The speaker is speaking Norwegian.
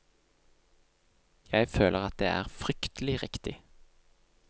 Jeg føler at det er fryktelig riktig.